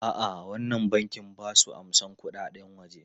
A'a, wannan bankin ba su amsan kuɗaɗen waje.